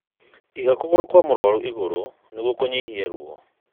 Iga kũgũrũ kwa mũrũarũ igũrũ nĩguo kũnyihanyihia ruo.